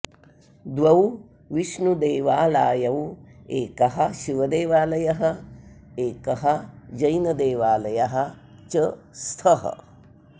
द्वौविष्णुदेवालायौ एकः शिवदेवालयः एकः जैन देवालयः च स्थः